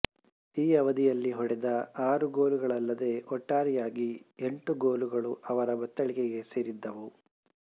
ಈ ಅವಧಿಯಲ್ಲಿ ಹೊಡೆದ ಆರು ಗೋಲುಗಳಲ್ಲದೆ ಒಟ್ಟಾರೆಯಾಗಿ ಎಂಟು ಗೋಲುಗಳು ಅವರ ಬತ್ತಳಿಕೆ ಸೇರಿದ್ದವು